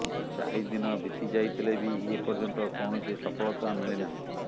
ଚାରି ଦିନ ବିତି ଯାଇଥିଲେ ବି ଏ ପର୍ଯ୍ୟନ୍ତ କୌଣସି ସଫଳତା ମିଳିନାହିଁ